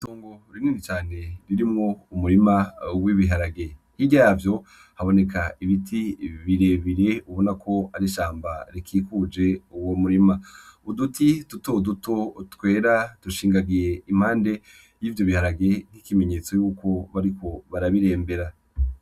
Tongo rinweni cane ririmwo umurima uwo ibiharage nkiryavyo haboneka ibiti birebire ubona ko arishamba rikikuje uwo murima uduti dutoduto twera dushingagiye impande y'ivyo biharage nk'ikimenyetso yuko bariko barabirembera.